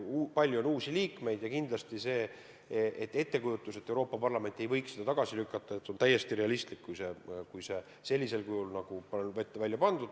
Palju on uusi liikmeid ja kindlasti see ettekujutus, et Euroopa Parlament võiks selle sellisel kujul, nagu on ette pandud, tagasi lükata, on täiesti realistlik.